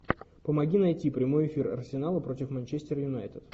помоги найти прямой эфир арсенала против манчестер юнайтед